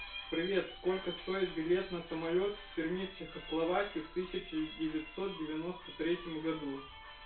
привет сколько стоит билет на самолёт в перми чехословакии в тысяча девятьсот девяносто третьем году